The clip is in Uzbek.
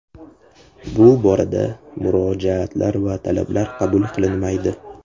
Bu borada murojaatlar va talablar qabul qilinmaydi.